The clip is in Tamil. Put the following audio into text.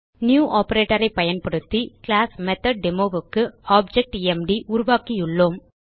நியூ ஆப்பரேட்டர் ஐ பயன்படுத்தி கிளாஸ் மெத்தொட்டேமோ க்கு ஆப்ஜெக்ட் எம்டி உருவாக்கியுள்ளோம்